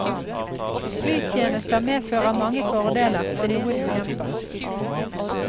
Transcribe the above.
Flytjenester medfører mange fordeler, og noen ulemper.